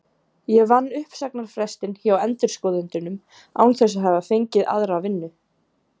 Ég vann uppsagnarfrestinn hjá endurskoðendunum án þess að hafa fengið aðra vinnu.